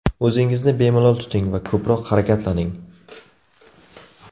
O‘zingizni bemalol tuting va ko‘proq harakatlaning.